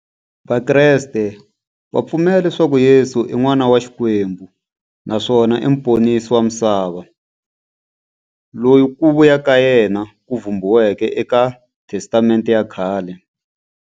Vakreste va pfumela leswaku Yesu i n'wana wa Xikwembu naswona i muponisi wa misava, loyi ku vuya ka yena ku vhumbiweke eka Testamente ya khale.